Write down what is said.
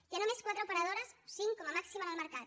hi ha només quatre operadores cinc com a màxim en el mercat